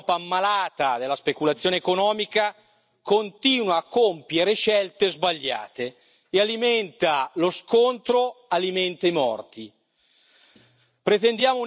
E invece questa Europa, un'Europa malata della speculazione economica, continua a compiere scelte sbagliate e alimenta lo scontro, alimenta i morti.